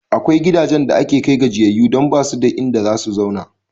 Akwai gidajen da ake kai gajiyayyu don ba su da inda za su zauna.